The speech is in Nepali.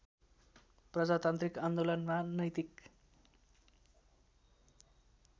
प्रजातान्त्रिक आन्दोलनमा नैतिक